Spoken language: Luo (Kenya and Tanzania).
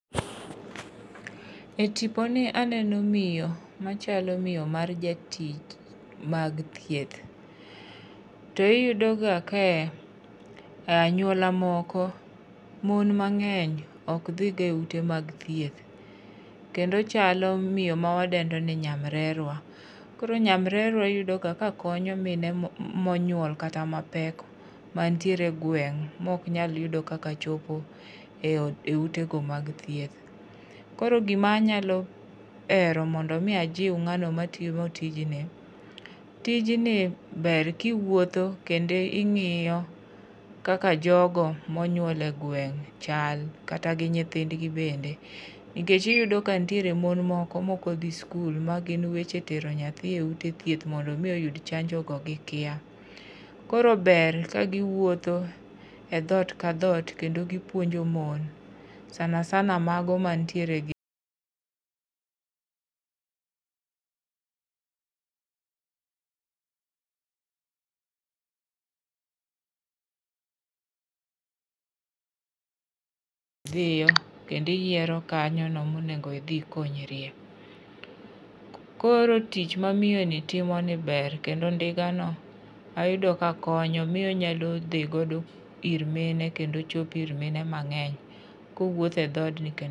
E tponi aneno miyo machalo miyo mar Jatich mag thieth, to iyudoga ka anyuola moko, mon mang'eny ok dhiya e ute mag thieth, kendo ochalo miyo mawadendo ni nyamrerwa. Koro nyamrerwa iyudo ga kakonyo mine monyuol kata mapek manitiere e gweng' ma ok nyal yudo kaka chopo e utego mad thieth. Koro gimanyalo hero mondo omi ajiw ng'ano matimo tijni, tijni ber kiwuotho kendo ing'iyo kaka jogo monyuol e gweng' chal, kata gi nyithindgi bende, nikech iyudo ka nitiere mon moko mokdhi skul, ma gin weche tero nyathi e ute thieth mondo omi oyud chanjogo gikia. Koro ber kagiwuotho e dhot ka dhot kendo gipuonjo mon sana sana mago manitiere gi .Dhiyo kendo iyiero kanyono monego idhi ikonyrie. Koro tich mamiyoni timoni ber kendo ndigano ayudo kakonyo miyo onyalo dhi godo ir mine kendo chopo ir mine mang'eny kowuotho e dhot.